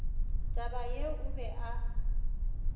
taba yeo o be a